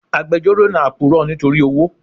Agbejoro náà puro nítorí owó.